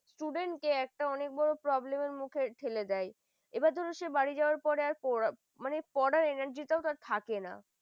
student একটা অনেক বড় problem মুখে ঠেলে দেয় এবার ধরেছে বাড়ি যাওয়ার পরে মানে পড়া হয় না যেটাও তার থাকে না ।